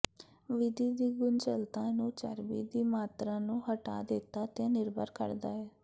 ਵਿਧੀ ਦੀ ਗੁੰਝਲਤਾ ਨੂੰ ਚਰਬੀ ਦੀ ਮਾਤਰਾ ਨੂੰ ਹਟਾ ਦਿੱਤਾ ਤੇ ਨਿਰਭਰ ਕਰਦਾ ਹੈ